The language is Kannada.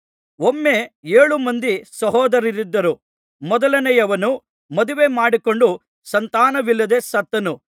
ಒಮ್ಮೆ ಏಳು ಮಂದಿ ಸಹೋದರರಿದ್ದರು ಮೊದಲನೆಯವನು ಮದುವೆ ಮಾಡಿಕೊಂಡು ಸಂತಾನವಿಲ್ಲದೆ ಸತ್ತನು